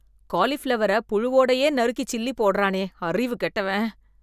காலிபிளவரை புழுவோடயே நறுக்கு சில்லி போடறானே, அறிவு கெட்டவன்.